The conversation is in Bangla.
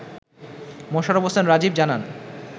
মোশারফ হোসেন রাজীব জানান